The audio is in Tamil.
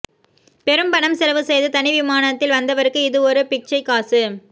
பெரும் பணம் செலவு செய்து தனி விமானததில் வந்த்வருக்கு இது ஒரு பிச்ஷை காசு